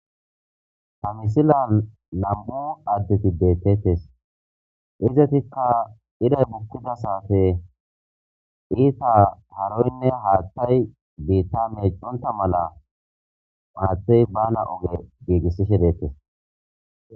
Ha misilan nam7u addeti deettetes izatikka iray bukkida saate iita haroynne haattay biitta meeconta mala maathtey bana oge giigissishe deettes.